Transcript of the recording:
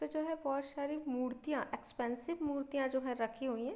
इस पे जो है बहुत सारी मूर्तियां एक्सपेंसिव मूर्तियां जो है रखी हुई है।